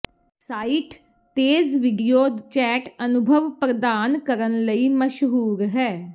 site ਤੇਜ਼ video chat ਅਨੁਭਵ ਪ੍ਰਦਾਨ ਕਰਨ ਲਈ ਮਸ਼ਹੂਰ ਹੈ